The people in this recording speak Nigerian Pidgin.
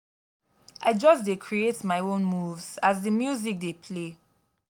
i just dey create my own moves as di music dey play.